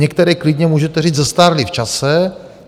Některé, klidně můžete říct, zestárly v čase.